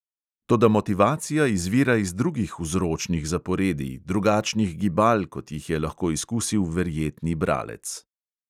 Toda motivacija izvira iz drugih vzročnih zaporedij, drugačnih gibal, kot jih je lahko izkusil verjetni bralec.